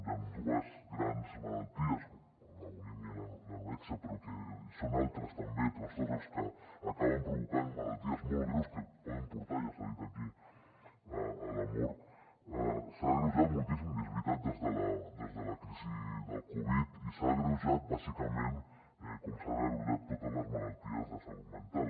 i amb dues grans malalties la bulímia i l’anorèxia però són altres també trastorns els que acaben provocant malalties molt greus que poden portar ja s’ha dit aquí a la mort s’ha agreujat moltíssim i és veritat des de la crisi de la covid i s’ha agreujat bàsicament com s’han agreujat totes les malalties de salut mental